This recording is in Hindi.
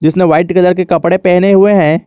इसने व्हाइट कलर के कपडे पहने हुए है।